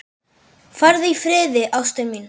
Farðu í friði, ástin mín.